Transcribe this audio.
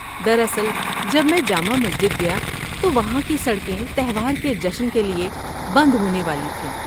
دراصل، جب میں جامع مسجد گیا تو وہاں کی سڑکیں تہوار کے جشن کے لیے بند ہونے والی تھیں۔